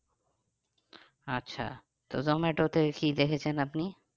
আচ্ছা তো জোমাটোতে কি দেখেছেন আপনি?